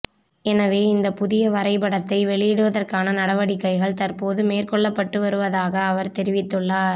எனவே இந்த புதிய வரைபடத்தை வெளியிடுவதற்கான நடவடிக்கைகள் தற்போது மேற்கொள்ளப்பட்டுவருவதாக அவர் தெரிவித்துள்ளார்